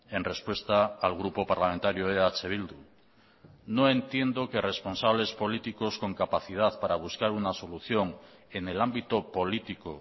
en respuesta al grupo parlamentario eh bildu no entiendo que responsables políticos con capacidad para buscar una solución en el ámbito político